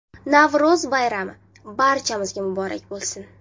Navro‘z bayrami, barchamizga muborak bo‘lsin!